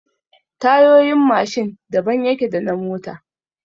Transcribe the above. Tayoyin Mashin daban yake da na mota